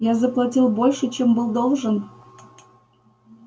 я заплатил больше чем был должен